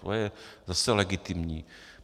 To je zase legitimní.